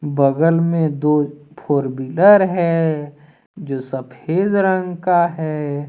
बगल में दो फोर बिलर है जो सफेद रंग का है।